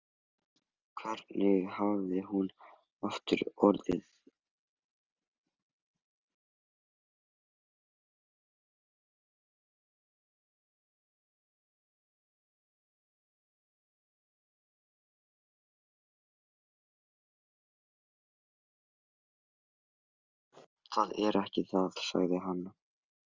Það er ekki það, sagði hann.